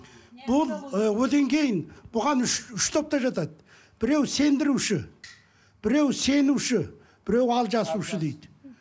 бұл ы одан кейін бұған үш үш топ та жатады біреуі сендіруші біреуі сенуші біреуі алжасушы дейді